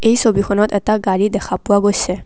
এই ছবিখনত এটা গাড়ী দেখা পোৱা গৈছে।